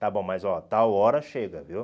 está bom, mas, ó, tal hora chega, viu?